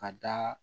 Ka da